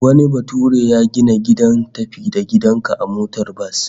Wani bature ya gina gidan tafi-da-gidan-ka a motar bas